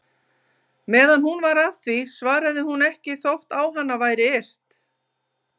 Meðan hún var að því svaraði hún ekki þótt á hana væri yrt.